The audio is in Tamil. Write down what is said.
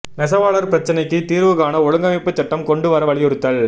நெசவாளா் பிரச்னைக்கு தீா்வு காண ஒழுங்கமைப்பு சட்டம் கொண்டு வர வலியுறுத்தல்